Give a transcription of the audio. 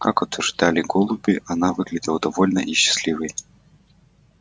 как утверждали голуби она выглядела довольной и счастливой